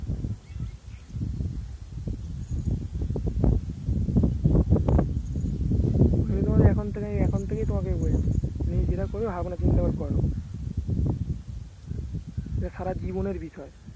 আমি তোমাকে এখন থেকে এখন থেকেই তোমাকে বলছি যেটা করো চিন্তা করে করো এটা সারাজীবনের বিষয়